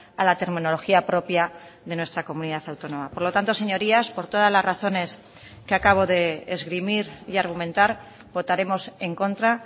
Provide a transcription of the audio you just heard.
a la terminología propia de nuestra comunidad autónoma por lo tanto señorías por todas las razones que acabo de esgrimir y argumentar votaremos en contra